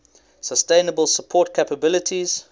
sustainable support capabilities